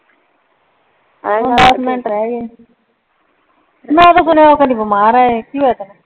ਦੱਸ ਮਿੰਟ ਰਿਹ ਗਏ ਮੈਂ ਤੇ ਸੁਣਿਆ ਸੀਤੂੰ ਬਿਮਾਰ ਹੈ ਇੱਹ ਸੀ ਕੀ ਹੋ ਗਿਆ ਤੈਨੂੰ